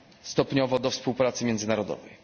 stopniowo do współpracy międzynarodowej.